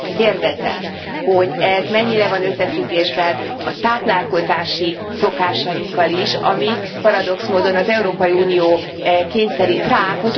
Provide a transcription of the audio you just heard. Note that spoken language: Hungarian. Kérdezem, hogy ez mennyire van összefüggésben a táplálkozási szokásainkkal is, amit paradox módon az Európai Unió kényszerít ránk.